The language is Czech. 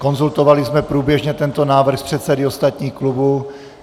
Konzultovali jsme průběžně tento návrh s předsedy ostatních klubů.